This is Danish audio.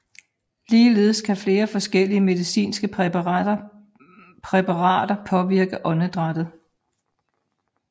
Ligeledes kan flere forskellige medicinske præparater påvirke åndedrættet